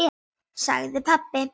sagði pabbi.